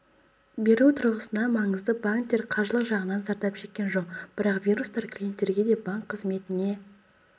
беру тұрғысынан маңызды банктер қаржылық жағынан зардап шеккен жоқ бірақ вирустар клиенттерге де банк қызметіне